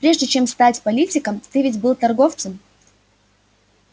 прежде чем стать политиком ты ведь был торговцем